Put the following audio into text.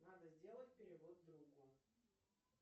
надо сделать перевод другу